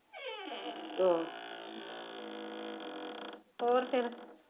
ਅਹ ਹੋਰ ਫਿਰ?